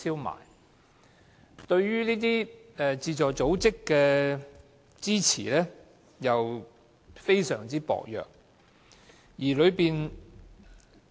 基金對於互助組織的支援，同樣非常薄弱。